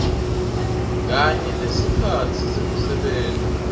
kanye nesikhatsi sekusebenta